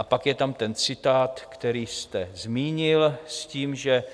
A pak je tam ten citát, který jste zmínil, s tím, že